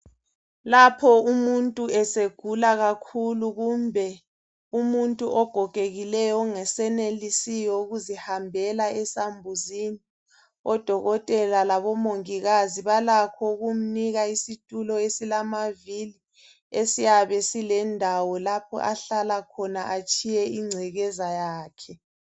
Lapho umuntu esegula kakhulu kumbe umuntu ogogekileyo ongesenelisi ukuzihambela esambuzini odokotela labomongikazi balakho ukumnika isitulo esilamavili esiyabe silendawo lapha ahlala khona atshiye ingcekeza yakhe